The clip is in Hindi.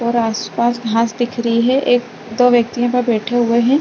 और आस - पास घास दिख रही है एक दो व्यक्ति यहाँ पे बैठे हुए है।